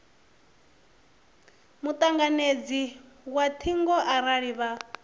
mutanganedzi wa thingo arali vha